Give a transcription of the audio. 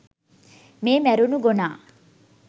මේ මැරුණු ගොනා